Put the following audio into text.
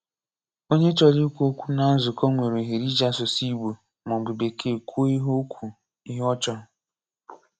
Onye chọrọ ikwu okwu ná nzukọ nwere ohere iji asụsụ Ị̀gbò ma ọ bụ Bekee kwuo ihe ọ kwuo ihe ọ chọrọ.